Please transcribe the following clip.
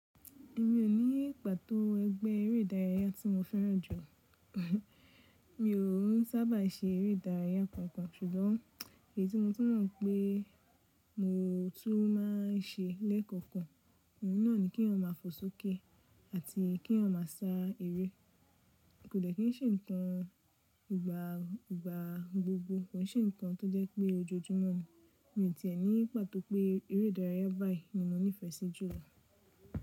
Mi ò ní pàtó ẹgbẹ́ eré ìdárayá tí mo fẹ́ràn jù. Mi òún sábà ṣe eré ìdárayá kankan, ṣùgbọ́n èyí tí mo mọ̀ pé mo tún má n ṣe lẹ́ẹ̀kọ̀kan, òun náà ni kí èèyàn máa fò sókè àti kí èèyàn má sa eré. Kò dẹ́kí n ṣe nǹkan ìgbàgbogbo, kò n ṣe nǹkan tó jẹ́ pé ojoojúmọ́ ni. Mi ò tìẹ ní pàtó pé eré ìdárayá báyìí ni mo nífẹ̀ẹ́ sí jù lọ.